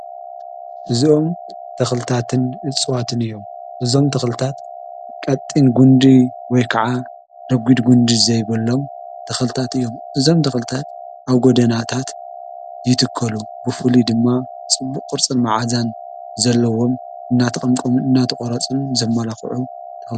እዝኦም ተኽልታትን እጽዋትን እዮም እዞም ተኽልታት ቀጢን ጕንዲ ወይ ከዓ ረጕድ ጕንዲ ዘይበሎም ተኸልታት እዮም እዞም ተኽልታት ኣብ ጐደናታት ይትከሉ ብፉሊ ድማ ጽቡቕ ቕርጽን መዓዛን ዘለዎም እናተቐምቆም እናተቖረጹን ዘመላዂዑ::